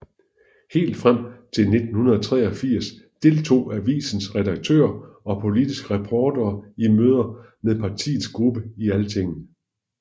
Helt frem til 1983 deltog avisens redaktører og politiske reportere i møder med partiets gruppe i Altinget